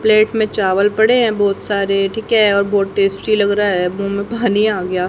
Plate में चावल पड़े हैं बोहोत सारे ठीक है और बोहोत टेस्टी लगरा है मु में पानी आ गया।